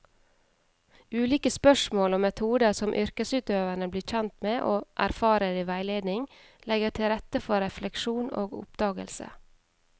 Ulike spørsmål og metoder som yrkesutøverne blir kjent med og erfarer i veiledning, legger til rette for refleksjon og oppdagelse.